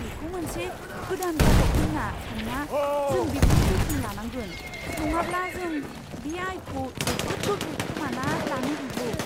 बेखौ मोनसे गोदान ग्राहक होन्ना सान्ना, जों बिखौ जोथोन लानांगोन, नङाब्ला जों बे आयखौ जोबोद गोख्रै खोमाना लानो हागौ।